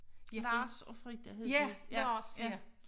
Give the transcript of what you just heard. Lars og Frida hed de